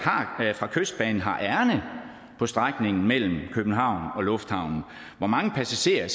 fra kystbanen der har ærinde på strækningen mellem københavn og lufthavnen hvor mange passagerer